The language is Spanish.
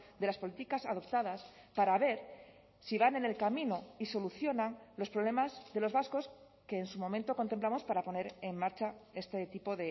de las políticas adoptadas para ver si van en el camino y solucionan los problemas de los vascos que en su momento contemplamos para poner en marcha este tipo